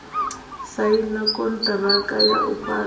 saina konṱiraka ya u fhaṱa